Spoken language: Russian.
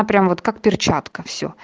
прямо вот как перчатка все